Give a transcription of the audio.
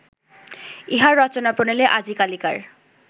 ইহার রচনাপ্রণালী আজিকালিকার